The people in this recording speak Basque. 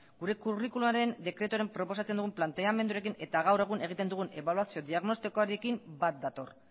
gure curriculumaren dekretuaren proposatzen dugun planteamenduarekin eta gaur egun egiten dugun ebaluazio diagnostikoaren bat dator